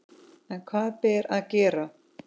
En hvað ber að gera?